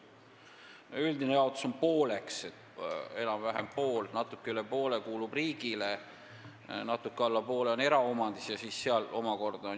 Üldine jaotus on pooleks: natuke üle poole kuulub riigile ja natuke alla poole on eraomandis.